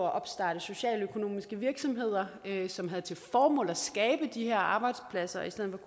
at opstarte socialøkonomiske virksomheder som havde til formål at skabe de her arbejdspladser i stedet